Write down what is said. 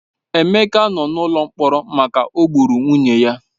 Emeka nọ n'ụlọ mkpọrọ maka o gburu nwunye ya.